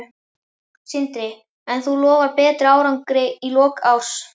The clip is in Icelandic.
Sindri: En þú lofar betri árangri í lok árs?